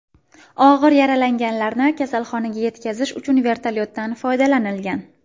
Og‘ir yaralanganlarni kasalxonaga yetkazish uchun vertolyotdan foydalanilgan.